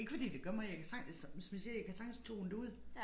Ikke fordi det gør mig jeg kan sagtens som som jeg siger jeg kan sagtens tone det ud